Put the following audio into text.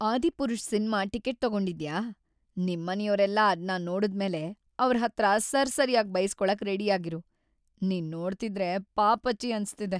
"""Adipurush"" cinema ticket ತಗೊಂಡಿದ್ಯಾ.. ನಿಮ್ಮನೆಯೋರೆಲ್ಲ ಅದ್ನ ನೋಡುದ್ಮೇಲೆ ಅವ್ರ್‌ ಹತ್ರ ಸರ್‌ಸರ್ಯಾಗ್‌ ಬೈಸ್ಕೊಳಕ್‌ ರೆಡಿಯಾಗಿರು, ನಿನ್‌ ನೋಡ್ತಿದ್ರೆ ಪಾಪಚ್ಚಿ ಅನ್ಸ್ತಿದೆ."